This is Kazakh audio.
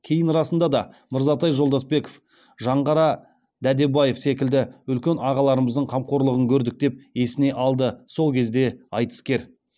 кейін расында да мырзатай жолдасбеков жаңғара дәдебаев секілді үлкен ағаларымыздың қамқорлығын көрдік деп есіне алды сол кезде айтыскер